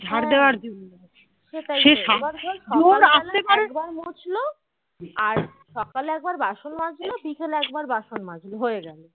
আর সকালে একবার বাসন মাজলো আর বিকেলে একবার বাসন মাজলো হয়েগেলো